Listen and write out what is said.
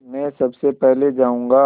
मैं सबसे पहले जाऊँगा